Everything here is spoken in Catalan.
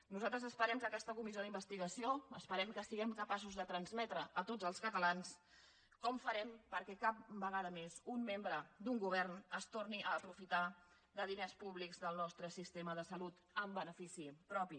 nosaltres esperem que aquesta comissió d’investigació esperem que siguem capaços de transmetre a tots els catalans com ho farem perquè cap vegada més un membre d’un govern es torni a aprofitar de diners públics del nostre sistema de salut en benefici propi